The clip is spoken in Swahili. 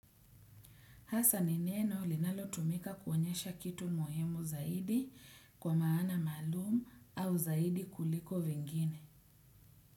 Hasa ni neno linalotumika kuonyesha kitu muhimu zaidi kwa maana maalum au zaidi kuliko vingine.